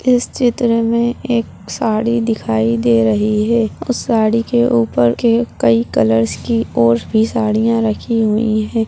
इस चित्र में एक साड़ी दिखाई दे रही है उस साड़ी के ऊपर के कई कलर्स के और भी साड़ियाँ रखी हुई हैं।